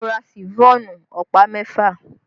Mo ra Ṣifọ́ọ̀nù ọ̀pá mẹ́fà